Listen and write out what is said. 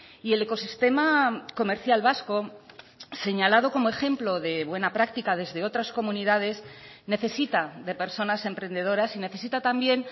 y el ecosistema comercial vasco señalado como ejemplo de buena práctica desde otras comunidades necesita de personas emprendedoras y necesita también